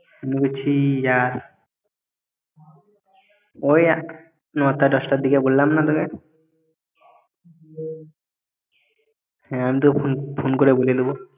বলছি যা ওই নটা দশটার দিকে বললাম না তোকে হ্যাঁ আমি তোকে phon~ phone করে বলে দেবো